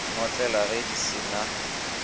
notlelwa ge di se na